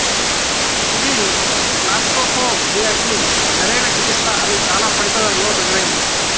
ఇది క్లాస్ట్రోఫోబియాకి సరైన చికిత్స అని చాలా పరిశోధనల్లో రుజువైంది